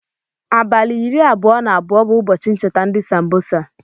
Abali iri abụọ na abụọ bu ụbọchi ncheta ndi sambosa.